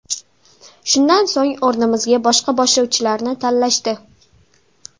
Shundan so‘ng, o‘rnimizga boshqa boshlovchilarni tanlashdi.